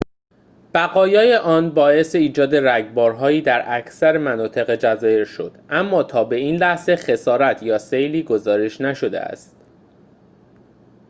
بقایای آن باعث ایجاد رگبارهایی در اکثر مناطق جزایر شد اما تا به این لحظه خسارت یا سیلی گزارش نشده است